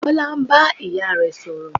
Bọlá ń bá ìyá rẹ̀ sọ̀rọ̀